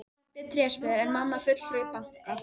Pabbi er trésmiður en mamma fulltrúi í banka.